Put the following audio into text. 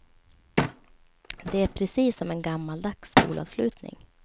Det är precis som en gammaldags skolavslutning.